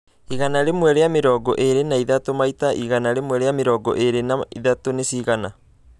igana rĩmwe rĩa mĩrongo ĩrĩi na ithatũ maita igana rĩmwe rĩa mĩrongo ĩrĩi na ithatũ nĩcigana